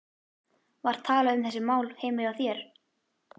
Var talað um þessi mál heima hjá þér?